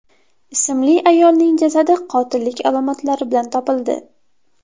ismli ayolning jasadi qotillik alomatlari bilan topildi.